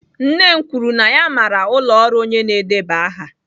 Nne m kwuru na ya maara ụlọ ọrụ onye na-edeba aha